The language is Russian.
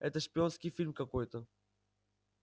это шпионский фильм какой-то